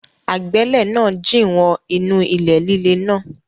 Agbẹ́lẹ̀ náà jìn wọ inú ilẹ̀ líle náà.